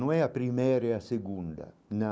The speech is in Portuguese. Não é a primeira e a segunda, não.